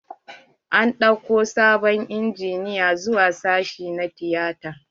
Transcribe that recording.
An ɗauko sabon injina zuwa sashi na tiyata.